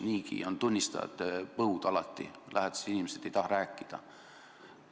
Niigi on alati tunnistajate põud, lähedased inimesed ei taha sellest rääkida.